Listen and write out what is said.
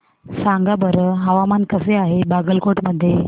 सांगा बरं हवामान कसे आहे बागलकोट मध्ये